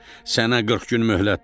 Sənə 40 gün möhlətdir.